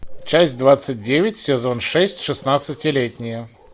часть двадцать девять сезон шесть шестнадцатилетние